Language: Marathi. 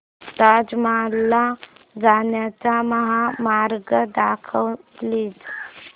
ताज महल ला जाण्याचा महामार्ग दाखव प्लीज